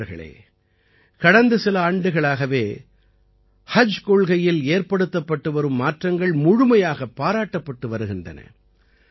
நண்பர்களே கடந்த சில ஆண்டுகளாகவே ஹஜ் கொள்கையில் ஏற்படுத்தப்பட்டுவரும் மாற்றங்கள் முழுமையாகப் பாராட்டப்பட்டு வருகின்றன